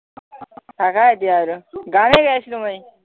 গানে গাইছিলো মই